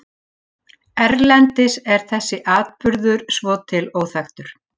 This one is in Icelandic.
Erlendis er þessi atburður svo til óþekktur.